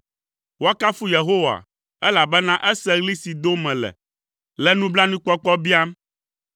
Woakafu Yehowa, elabena ese ɣli si dom mele le nublanuikpɔkpɔ biam.